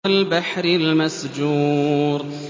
وَالْبَحْرِ الْمَسْجُورِ